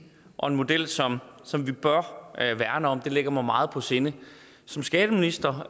og en model som som vi bør værne om det ligger mig meget på sinde som skatteminister